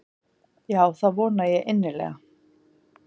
Já það vona ég innilega.